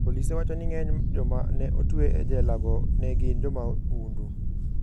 Polise wacho ni ng'eny joma ne otwe e jelago ne gin jomahundu.